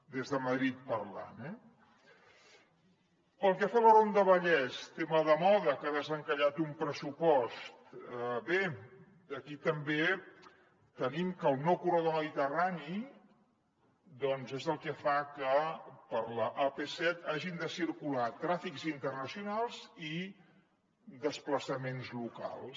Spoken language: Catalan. des de madrid parlant eh pel que fa a la ronda vallès tema de moda que ha desencallat un pressupost bé aquí també tenim que el nou corredor mediterrani doncs és el que fa que per l’ap set hagin de circular trànsits internacionals i desplaçaments locals